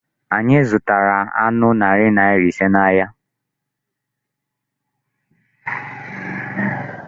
Anyị zụtara anụ narị naira ise n'ahịa.